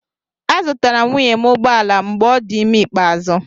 Azụtara m nwunye m ụgbọ ala mgbe ọ dị ime ikpeazụ.